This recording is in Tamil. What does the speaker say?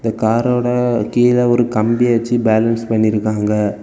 காரோட கீழ ஒரு கம்பிய வெச்சு பேலன்ஸ் பண்ணிருக்காங்க.